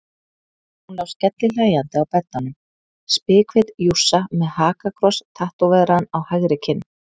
Hún lá skellihlæjandi á beddanum, spikfeit jússa með hakakross tattóveraðan á hægri kinn.